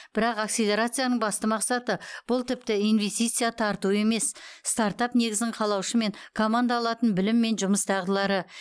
бірақ акселерацияның басты мақсаты бұл тіпті инвестиция тарту емес стартап негізін қалаушы мен команда алатын білім мен жұмыс дағдылары